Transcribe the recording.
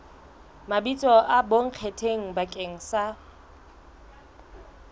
mabitso a bonkgetheng bakeng sa